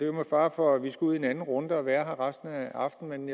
jo med fare for at vi skal ud i en anden runde og være her resten af aftenen